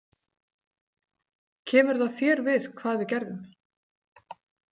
Kemur það þér við hvað við gerðum?